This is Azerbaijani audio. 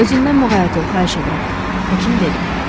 "Özündən muğayat ol, xahiş edirəm," həkim dedi.